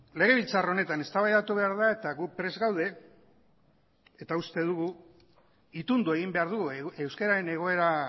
legebiltzar honetan eztabaidatu behar da eta gu prest gaude itundu egin behar dugu euskararen egoera